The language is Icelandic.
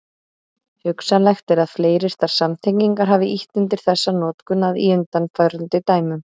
Hugsanlegt er að fleiryrtar samtengingar hafi ýtt undir þessa notkun að í undanfarandi dæmum.